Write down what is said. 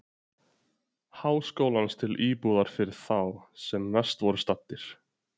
Háskólans til íbúðar fyrir þá, sem verst voru staddir.